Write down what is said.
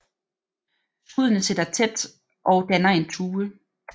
Skuddene sidder tæt og danner en tue